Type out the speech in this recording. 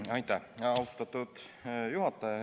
Aitäh, austatud juhataja!